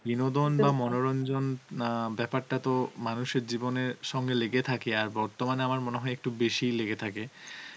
বিনোদন মনোরঞ্জন অ্যাঁ বেপারটা তো মানুষের জীবনের সঙ্গে লেগে থাকে আর আর বর্তমানে আমার মনে হয় একটু বেশি ই লেগে থাকে